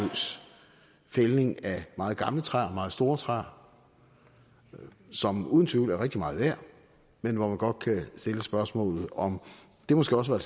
fældning af meget gamle træer meget store træer som uden tvivl er rigtig meget værd men hvor man godt kan stille spørgsmålet om det måske også var